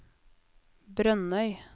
Brønnøy